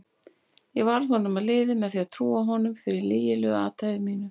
Ég varð honum að liði með því að trúa honum fyrir lygilegu athæfi mínu.